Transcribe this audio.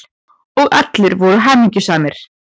Og allir voru hamingjusamir.